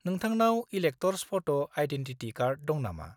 -नोंथांनाव elector's photo identity card दं नामा?